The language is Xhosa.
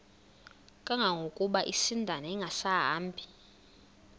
kangangokuba isindane ingasahambi